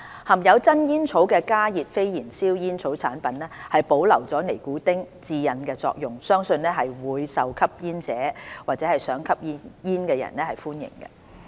含有真煙草的加熱非燃燒煙草產品保留了尼古丁的致癮作用，相信會更受吸煙或想吸煙人士歡迎。